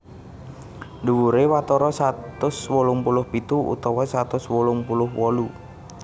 Dhuwuré watara satus wolung puluh pitu utawa satus wolung puluh wolu